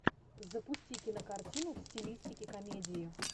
запусти кинокартину в стилистике комедии